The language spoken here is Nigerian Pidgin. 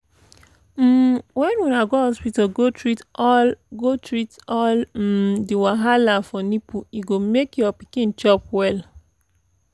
um when una go hospital go treat all go treat all um the wahala for nipple e go make your pikin chop well